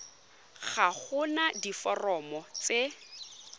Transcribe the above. ga go na diforomo tse